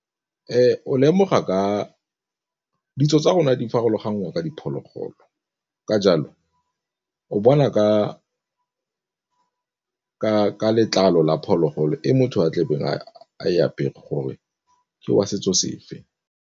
O lemoga ka ditso tsa rona di farologangwa ka diphologolo, ka jalo o bona ka letlalo la phologolo e motho o tlebe a e apere gore ke wa setso sefe.